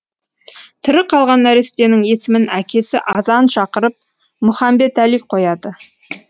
тірі қалған нәрестенің есімін әкесі азан шақырып мұхамбетәли қояды